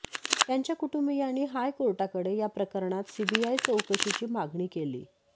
त्यांच्या कुटुंबीयांनी हाय कोर्टाकडे या प्रकरणात सीबीआय चौकशीची मागणी केलीय